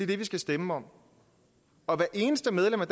det vi skal stemme om og hvert eneste medlem af